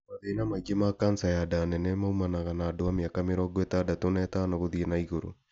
Mathĩna maingĩ ma kanca ya nda nene maumanaga na andũ a mĩaka mĩrongo ĩtandatũ na ĩtano gũthiĩ na igũrũ